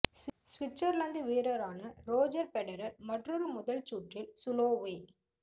Switzerland வீரரான Roger Federer மற்றொரு முதல் சுற்றில் சுலோவே